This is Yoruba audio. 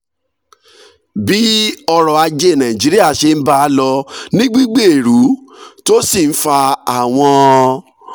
bí ọrọ̀ ajé nàìjíríà ṣe ń bá a lọ ní gbígbèrú tó sì ń fa àwọn